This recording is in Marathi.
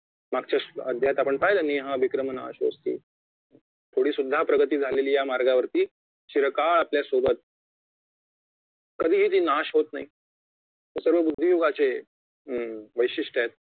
मागच्या अध्यायात आपण पाहिलं निहा विक्रमणाशोस्ते थोडी सुद्धा प्रगती झालेली या मार्गावरती चिरकाळ आपल्यासोबत कधीही ती नाश होत नाही हे सर्व बुद्धी युगाची अं वैशिष्टय आहेत